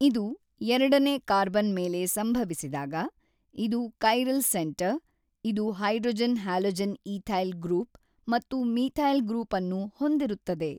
ಇದು ಎರಡನೇ ಕಾರ್ಬನ್ ಮೇಲೆ ಸಂಭವಿಸಿದಾಗ ಇದು ಕೈರಲ್ ಸೆಂಟರ್ ಇದು ಹೈಡ್ರೋಜನ್ ಹ್ಯಾಲೊಜೆನ್ ಈಥೈಲ್ ಗ್ರೂಪ್ ಮತ್ತು ಮೀಥೈಲ್ ಗ್ರೂಪ್ ಅನ್ನು ಹೊಂದಿರುತ್ತದೆ.